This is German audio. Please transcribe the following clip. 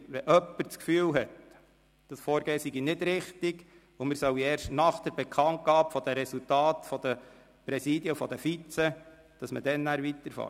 Hat jemand das Gefühl, dieses Vorgehen sei nicht richtig und man solle erst nach der Bekanntgabe der Resultate der Präsidien der Vizepräsidenten weiterfahren?